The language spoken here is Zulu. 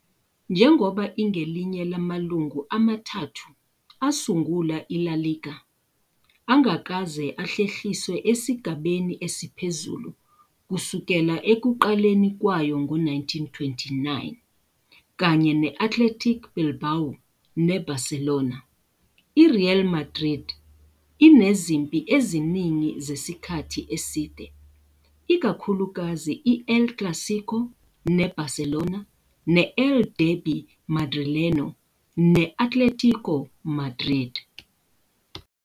Njengoba ingelinye lamalungu amathathu asungula i-La Liga angakaze ahlehliswe esigabeni esiphezulu kusukela ekuqaleni kwayo ngo-1929, kanye ne-Athletic Bilbao neBarcelona, i-Real Madrid inezimpi eziningi zesikhathi eside, ikakhulukazi i-El Clásico ne-Barcelona ne-El Derbi Madrileño ne-Atlético Madrid.